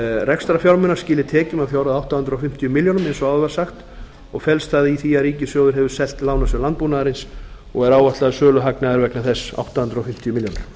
rekstrarfjármuna skili tekjum að fjárhæð átta hundruð fimmtíu milljónum eins og áður var sagt og felst það í því að ríkissjóður hefur selt lánasjóð landbúnaðarins og er áætlaður söluhagnaður vegna þess átta hundruð fimmtíu milljónir eins og